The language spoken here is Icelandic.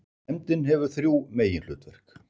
Nefndin hefur þrjú meginhlutverk.